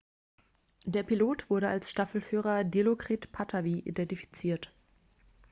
der pilot wurde als staffelführer dilokrit pattavee identifiziert